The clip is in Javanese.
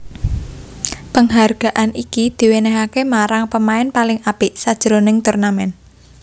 Penghargaan iki diwènèhaké marang pamain paling apik sajroning turnamen